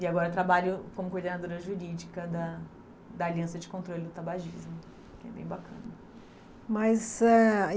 E agora trabalho como coordenadora jurídica da da Aliança de Controle do Tabagismo, que é bem bacana. Mas eh aí